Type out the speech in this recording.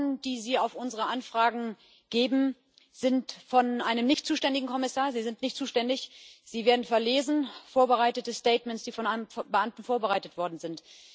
Die Antworten, die Sie auf unsere Anfragen geben, sind von einem nicht zuständigen Kommissar Sie sind nicht zuständig sie werden verlesen vorbereitete Statements, die von einem Beamten vorbereitet worden sind.